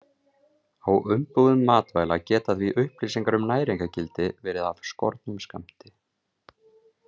Á umbúðum matvæla geta því upplýsingar um næringargildi verið af skornum skammti.